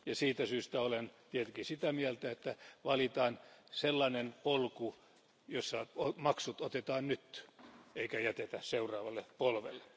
Siitä syystä olen tietenkin sitä mieltä, että valitaan sellainen polku, jossa maksut otetaan nyt eikä niitä jätetä seuraavalle polvelle.